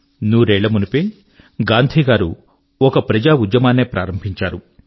నూరేళ్ళ మునుపే గాంధీ గారు ఒక ప్రజా ఉద్యమాన్నే ప్రారంభించారు